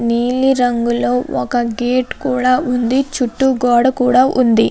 నీలిరంగులోనే ఒక గేటు కూడా ఉంది. దాని చుట్టూ పెద్ద గోడ కూడా ఉంది.